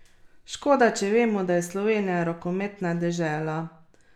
Škoda, če vemo, da je Slovenija rokometna dežela.